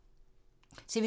TV 2